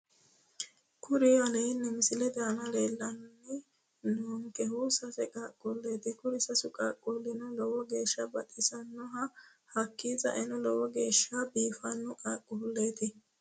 Kuri aleenni misilete aana leellanni noonkehu sase qaaqquulleeti kuri sasunku qaaqquulli lowo geeshsha baxisanno hakki saeno lowo geeshsha biifanno qaaqquulleeti